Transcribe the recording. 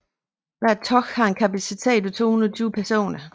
Hvert tog har en kapacitet på 220 personer